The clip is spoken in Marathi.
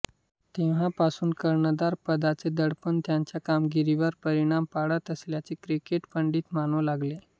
तेव्हापासून कर्णधार पदाचे दडपण त्यांच्या कामगिरीवर परिणाम पाडत असल्याचे क्रिकेट पंडित मानू लागले